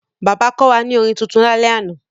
Bàbá kọ́ wa ní orin tuntun lálẹ́ àná.